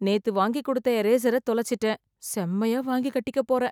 நேத்து வாங்கிக்கொடுத்த இரேசர தொலைச்சிட்டேன். செம்மையா வாங்கிக் கட்டிக்கப் போறேன்.